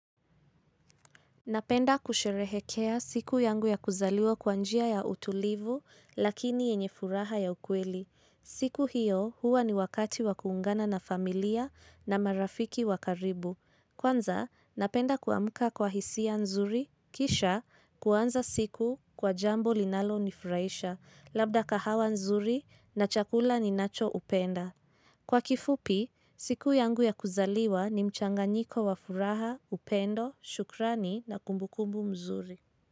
Napenda kusherehekea siku yangu ya kuzaliwa kwa njia ya utulivu, lakini yenye furaha ya ukweli. Siku hiyo huwa ni wakati wa kuungana na familia na marafiki wa karibu. Kwanza, napenda kuamuka kwa hisia nzuri, kisha kuanza siku kwa jambo linalonifuraisha, labda kahawa nzuri na chakula ninachoupenda. Kwa kifupi, siku yangu ya kuzaliwa ni mchanganyiko wa furaha, upendo, shukrani na kumbukumbu mzuri.